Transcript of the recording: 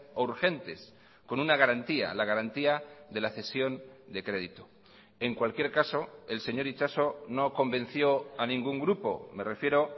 o urgentes con una garantía la garantía de la cesión de crédito en cualquier caso el señor itxaso no convenció a ningún grupo me refiero